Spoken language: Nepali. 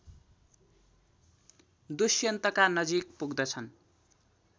दुष्यन्तका नजिक पुग्दछन्